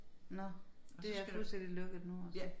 Nå det er fuldstændig lukket nu altså